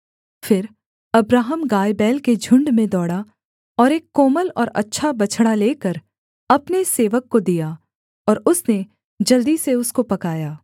फिर अब्राहम गायबैल के झुण्ड में दौड़ा और एक कोमल और अच्छा बछड़ा लेकर अपने सेवक को दिया और उसने जल्दी से उसको पकाया